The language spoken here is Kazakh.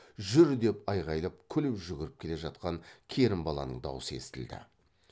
жүр деп айғайлап күліп жүгіріп келе жатқан керімбаланың даусы естілді